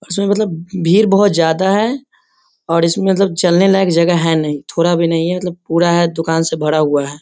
और उसमें मतलब भीड़ बहुत ज्यादा है और इसमें मतलब चलने लायक जगह है नहीं थोड़ा भी नहीं है। मतलब थोड़ा है दुकान से भरा हुआ है।